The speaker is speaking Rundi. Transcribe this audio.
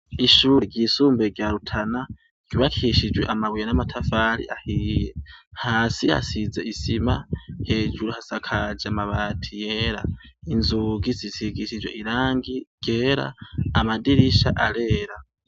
Ishuri ry'isumbuye rya Rutana ryubakishijwe amabuye n'amatafari ahiye hasi hasize isima hejuru hasakaje mabati yera inzugi zisigishijwe irangi ryera amadirisha arera.